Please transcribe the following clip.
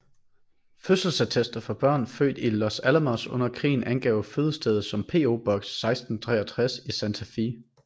Fødselsattester for børn født i Los Alamos under krigen angav fødestedet som PO Box 1663 i Santa Fe